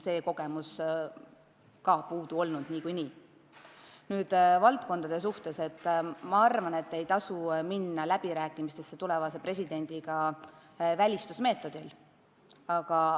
Mis puutub valdkondadesse, siis ma arvan, et ei maksa minna läbirääkimistele tulevase presidendiga välistusmeetodile tuginedes.